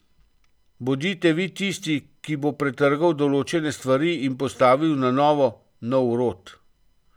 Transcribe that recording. Bodite vi tisti, ki bo pretrgal določene stvari in postavil na novo nov rod.